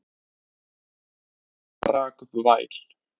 Rola rak upp væl.